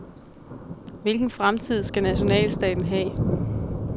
Hvilken fremtid skal nationalstaten have?